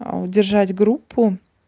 а удержать группу